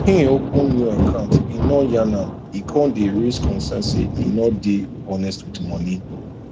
hin open new account e no yarn am e con day raise concerns say e no day honest with money